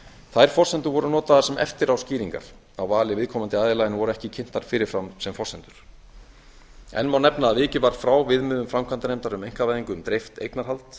þær forsendur voru notaðar sem eftiráskýringar á vali viðkomandi aðila en voru ekki kynntar fyrir fram sem forsendur enn má nefna að vikið var frá viðmiðum framkvæmdanefndar um einkavæðingu um dreift eignarhald